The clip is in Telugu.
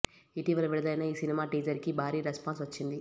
ఇటీవల విడుదలైన ఈ సినిమా టీజర్ కి భారీ రెస్పాన్స్ వచ్చింది